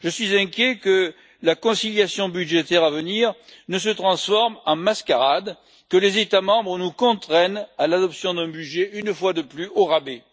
Je suis inquiet que la conciliation budgétaire à venir ne se transforme en mascarade et que les États membres nous contraignent à l'adoption d'un budget, une fois de plus, au rabais.